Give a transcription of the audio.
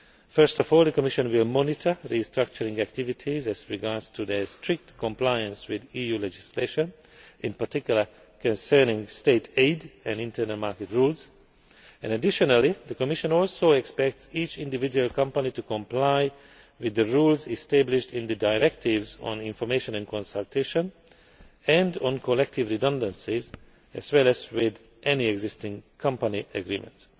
to play. First of all, the Commission will monitor restructuring activities to ensure their strict compliance with EU legislation, in particular concerning state aid and internal market rules. The Commission also expects each individual company to comply with the rules established in the directives on information and consultation and on collective redundancies, as well as with any existing company agreements.